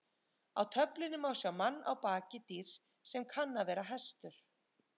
Á töflunni má sjá mann á baki dýrs sem kann að vera hestur.